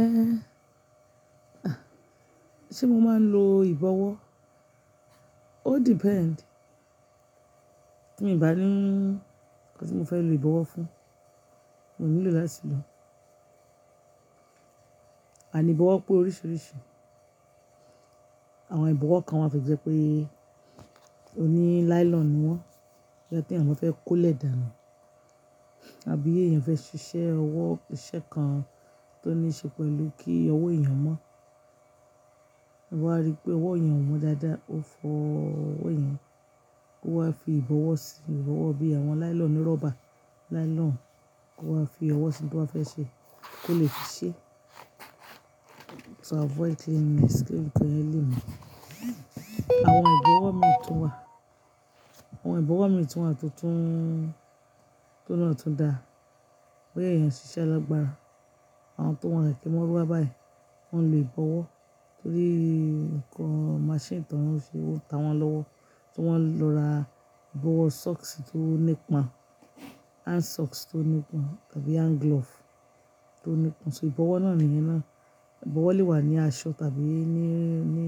Eh, ṣe mo máa ń lo ìbọwọ́? O depend. Tí mi ò bá ní ńǹkan tí mo fẹ́ lo ìbọwọ́ fún, mo ò nílò láti lò ó. Àní ìbọwọ́ pé oríṣiríṣi. Àwọn ìbọwọ́ kan wà tó jẹ pé ó ní nylon ni wọ́n, jẹ́ tí àwọn fẹ́ kó lẹ̀ dànù, àbí èèyàn fẹ́ ṣiṣẹ́ ọwọ́ iṣẹ́ kan tó ní ṣe pẹ̀lú kí ọwọ́ èèyàn mọ́. Wọn wa rí pé ọwọ́ yen omọ dáadáa, ó fọ ọwọ́ yen, ó wá fi ìbọwọ́ sí i, ìbọwọ́ bí àwọn nylon rọ́bà, nylon kó wá fi ọwọ́ sí tí wọ́n ba fẹ́ ṣe kó lè fiṣẹ́. To avoid cleaning escape to hell ni. Àwọn ìbọwọ́ mi tún wà, àwọn ìbọwọ́ mi tún wà tó tún, tó oun naa tún dáa, bo ya èèyàn ṣiṣẹ́ logba. Àwọn tó n wa kẹ̀kẹ́ maruwa báyìí, wọ́n lo ibọwọ́ torí ǹkan maṣínì ti wọn ń ṣe, ó ń ta wọn lọ́wọ́, tí wọ́n lọ ra ìbọwọ́ socks tí ó nípọn, hand socks tí ó nípọn tàbí hand glove tí ó nípọn. So ìbọwọ́ náà nìyẹn náà. Ìbọwọ́ lè wà ní aṣọ tàbí ní, ní,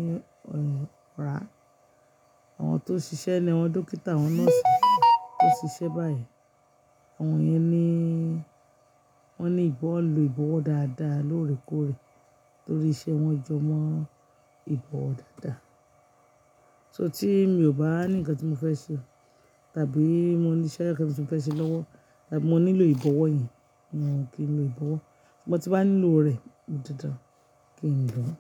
ẹ, ara. Àwọn tó ń ṣiṣẹ́ ni, àwọn dókítà, àwọn nọ́ọ̀sì tó ń ṣiṣẹ́ báyìí, àwọn yẹn ni wọ́n ni ìbọ́ lo ìbọwọ́ dáadáa lóòrèkóòrè torí iṣẹ́ wọn jó mọ́ ìbọ̀wọ dáadáa. So tí mi ò bá ní ǹkan tí mo fẹ́ ṣe tàbí mo ní iṣẹ́ kan ti mo fẹ́ ṣe lọ́wọ́ tàbí mo nílò ìbọwọ́ yẹn, mo kí ń lo ìbọwọ́. Igba tí n bá nílò rẹ̀, mo dándán kí ń lò ó.